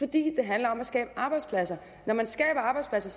det handler om at skabe arbejdspladser når man skaber arbejdspladser